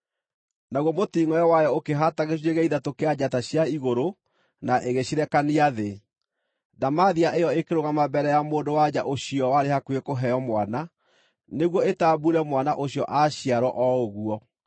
Naguo mũtingʼoe wayo ũkĩhaata gĩcunjĩ gĩa ithatũ kĩa njata cia igũrũ na ĩgĩcirekania thĩ. Ndamathia ĩyo ĩkĩrũgama mbere ya mũndũ-wa-nja ũcio warĩ hakuhĩ kũheo mwana, nĩguo ĩtambuure mwana ũcio aaciarwo o ũguo.